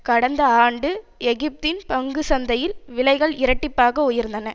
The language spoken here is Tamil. கடந்த ஆண்டு எகிப்தின் பங்கு சந்தையில் விலைகள் இரட்டிப்பாக உயர்ந்தன